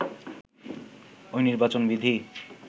ঐ নির্বাচন বিধি